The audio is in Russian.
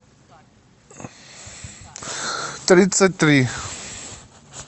тридцать три